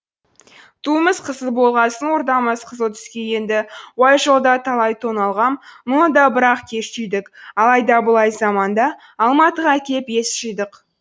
туымыз қызыл болғасын ордамыз қызыл түске енді уай жолда талай тоналғам мұны да бірақ кеш түйдік алай да бұлай заманда алматыға кеп ес жидық